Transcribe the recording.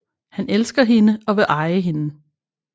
Han elsker hende og vil eje hende